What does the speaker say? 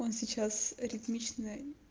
он сейчас ритмичный